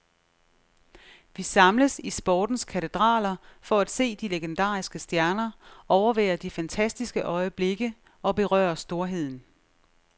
Vi samles i sportens katedraler for at se de legendariske stjerner, overvære de fantastiske øjeblikke og berøre storheden.